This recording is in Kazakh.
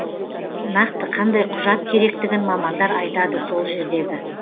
нақты қандай құжат керектігін мамандар айтады сол жердегі